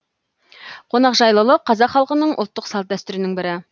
қонақжайлық қазақ халқының ұлттық салт дәстүрінің бірі